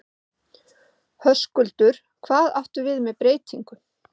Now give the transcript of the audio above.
Höskuldur: Hvað áttu við með breytingum?